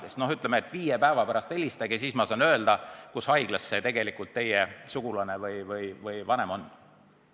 Noh, inimesele öeldakse, et viie päeva pärast helistage, siis ma saan öelda, kus haiglas see teie vanem või muu sugulane on.